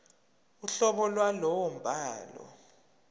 uhlobo lwalowo mbhalo